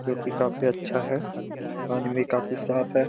क्योंकि काफी अच्छा है। पानी भी काफी साफ़ है।